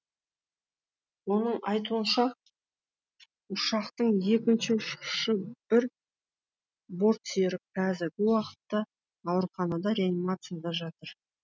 оның айтуынша ұшақтың екінші ұшқысы бір бортсерік қазіргі уақытта ауруханада реанимацияда жатыр